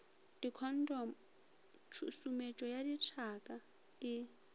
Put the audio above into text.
dikhontomo tšhusumetšo ya dithaka e